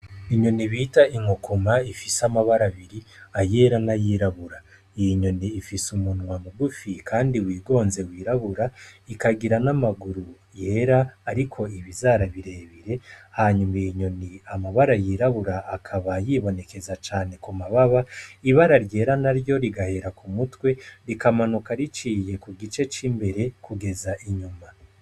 Inyoni bita inkukuma ifis'amabara abiri ayera n'ayirabura, iyo nyoni ifis'umunwa mugufi kandi wigonze wirabura, ikagira n'amaguru yera ariko ibizara birebire hanyuma iyo nyoni amabara yirabura akaba yibonekeza cane kumababa, ibara ryera naryo rigahera k'umutwe rikamanuka riciye kugice c'imbere rikamanuka kugeza inyuma.